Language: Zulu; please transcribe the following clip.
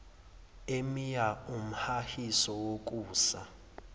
emia iwumhahiso wokusa